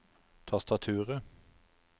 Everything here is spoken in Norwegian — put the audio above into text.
tastaturet